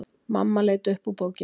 Mamma leit upp úr bókinni.